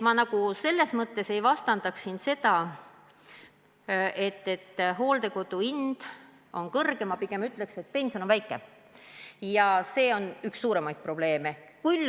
Samas ma ei arva, et hooldekodu hind on liiga kõrge, ma pigem ütlen, et pension on väike ja see on üks suurimaid probleeme.